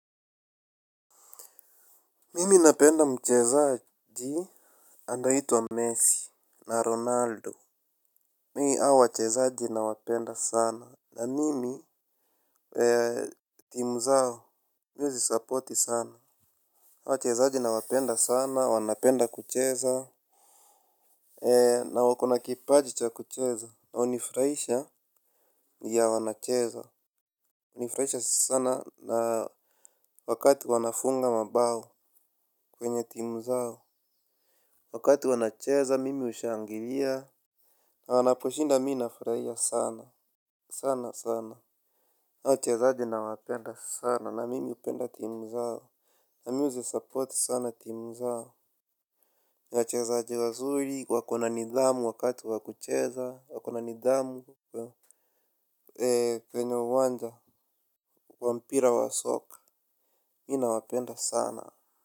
Mimi napenda mchezaji anayeitwa Messi na Ronaldo. Mi hao wachezaji nawapenda sana. Na nimi, timu zao, siwezi support sana. Hawa wachezaji nawapenda sana, wanapenda kucheza. Na wako na kipaji cha kucheza na hunifuraisha ya wanacheza hunifraisha sana na wakati wanafunga mabao kwenye timu zao. Wakati wanacheza, mimi hushangiria. Na wanaposhinda mi nafreaia sana sana sana. Na uchezaji nawapenda sana na mimi hupenda team zao. Na mi huzisupport sana team zao. Na wachezaji wazuri wako na nidhamu wakati wa kucheza wako na nidhamu. Eee kwenye uwanja wa mpira wa soka. Mi nawapenda sana.